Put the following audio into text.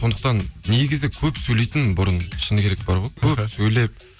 сондықтан негізі көп сөйлейтінмін бұрын шыны керек бар ғой көп сөйлеп